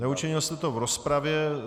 Neučinil jste to v rozpravě.